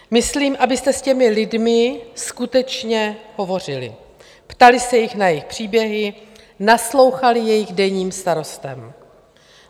Myslím, abyste s těmi lidmi skutečně hovořili, ptali se jich na jejich příběhy, naslouchali jejich denním starostem.